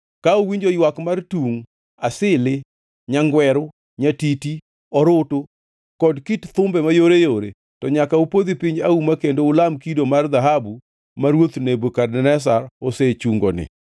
Ka uwinjo ywak mar tungʼ, asili, nyagweru, nyatiti, orutu kod kit thumbe mayoreyore, to nyaka upodhi piny auma kendo ulam kido mar dhahabu ma ruoth Nebukadneza osechungoni.